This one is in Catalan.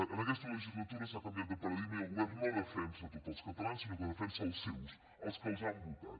en aquesta legislatura s’ha canviat de paradigma i el govern no defensa a tots els catalans sinó que defensa els seus els que els han votat